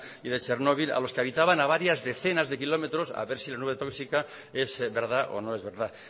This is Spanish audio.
y de chernobil a los que habitaban a varias decenas de kilómetros a ver si la nube tóxica es verdad o no es verdad